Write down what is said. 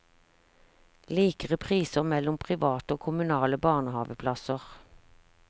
Likere priser mellom private og kommunale barnehaveplasser.